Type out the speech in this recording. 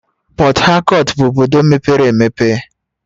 Port Harcourt bụ obodo mepere emepe